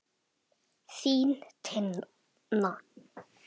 Þín Tinna.